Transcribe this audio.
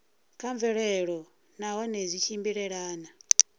kha mvelelo nahone zwi tshimbilelana